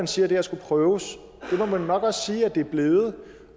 siger at det her skal prøves det må man nok også sige at det er blevet